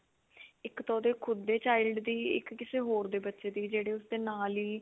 ਇੱਕ ਤਾਂ ਉਹਦੇ ਖੁੱਦ ਦੇ child ਦੀ ਇੱਕ ਕਿਸੇ ਹੋਰ ਦੇ ਬੱਚੇ ਦੀ ਜਿਹੜੀ ਉਸਦੇ ਨਾਲ ਹੀ